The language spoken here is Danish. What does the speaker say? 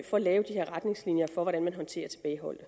for at lave de retningslinjer for hvordan man håndterer tilbageholdte